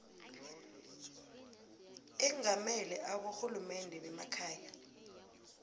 engamele aborhulumende bemakhaya